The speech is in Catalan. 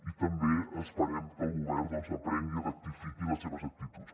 i també esperem que el govern n’aprengui i rectifiqui les seves actituds